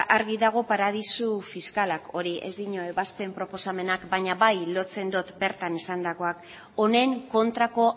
argi dago paradisu fiskalak hori ez duela ebazpen proposamenak baina bai lotzen dut bertan esandakoak honen kontrako